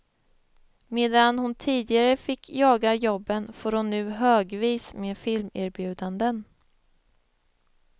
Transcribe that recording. Medan hon tidigare fick jaga jobben får hon nu högvis med filmerbjudanden.